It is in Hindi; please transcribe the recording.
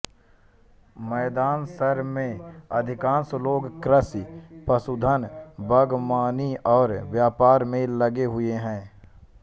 मैदान शर में अधिकांश लोग कृषि पशुधन बागवानी और व्यापार में लगे हुए हैं